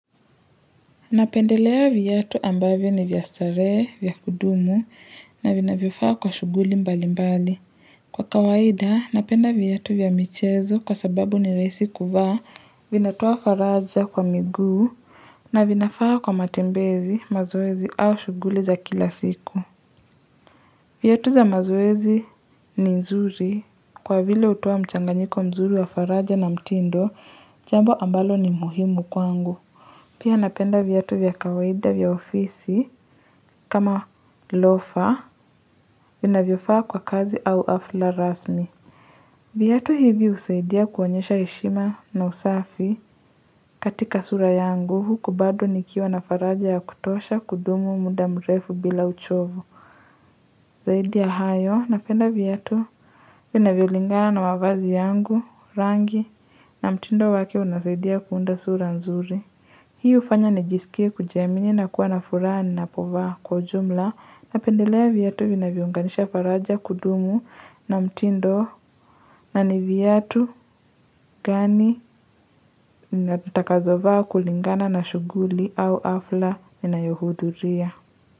Napendelea viatu ambavyo ni vya starehe, vya kudumu, na vinavyofaa kwa shughuli mbali mbali. Kwa kawaida, napenda viatu vya michezo kwa sababu ni rahisi kuvaa, vinatoa faraja kwa miguu, na vinafaa kwa matembezi, mazoezi au shuguli za kila siku. Viatu za mazoezi ni nzuri, kwa vile hutoa mchanganyiko mzuri wa faraja na mtindo, jambo ambalo ni muhimu kwangu. Pia napenda viatu vya kawaida vya ofisi kama lofa vinavyofaa kwa kazi au hafla rasmi. Viatu hivi husaidia kuonyesha heshima na usafi katika sura yangu huku bado nikiwa na faraja ya kutosha kudumu muda mrefu bila uchovu. Zaidia ya hayo napenda viatu vinavyo lingana na mavazi yangu rangi na mtindo wake unasaidia kuunda sura nzuri. Hii hufanya nijisikie kujiamini na kuwa na furaha ni napovaa kwa ujumla na pendelea viatu vinavyounganisha faraja kudumu na mtindo na ni viatu gani nitakazovaa kulingana na shuguli au hafla ninayohudhuria.